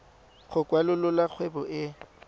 go kwalolola kgwebo e e